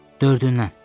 Dördündən.